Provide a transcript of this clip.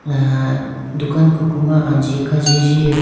ah dukan koko ma anji kajiji.